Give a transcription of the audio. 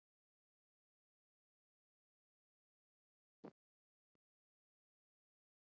Stundum getur fjöldi slíkra orma orðið það mikill að hýsillinn líður næringarskort.